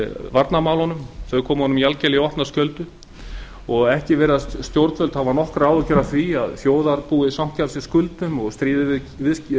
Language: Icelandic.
varnarmálunum þau komu honum algjörlega í opna skjöldu og ekki virðast stjórnvöld hafa nokkrar áhyggjur af því að þjóðarbúið sanki að sér skuldum og stríði við